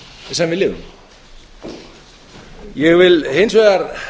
sem við lifum ég vil hins vegar